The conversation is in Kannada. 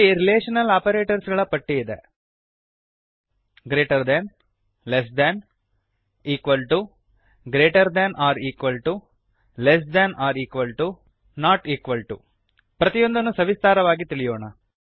greater than greater than less than less than 000113 000013 equal to ಸಮ greater than or equal to greater than ಅಥವಾ ಸಮ less than or equal to less than ಅಥವಾ ಸಮ ನಾಟ್ ಇಕ್ವಾಲ್ ಟಿಒ ಸಮವಿಲ್ಲ ಪ್ರತಿಯೊಂದನ್ನು ಸವಿಸ್ತಾರವಾಗಿ ತಿಳಿಯೋಣ